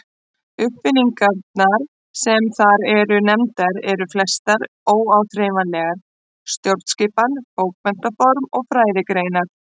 Uppfinningarnar sem þar eru nefndar eru flestar óáþreifanlegar: stjórnskipan, bókmenntaform og fræðigreinar.